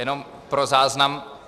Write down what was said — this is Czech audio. Jenom pro záznam.